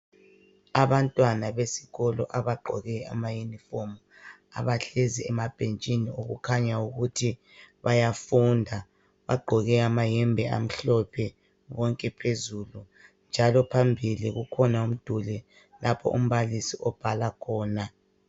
Abantwana besikolo abagqoke amayunifomu abahlezi emabhetshini okukhanya ukuthi bayafunda bagqoke amayembe amhlophe bonke phezulu njalo phambili kukhona umduli lapho umbalisi ombala khona.